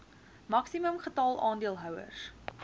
maksimum getal aandeelhouers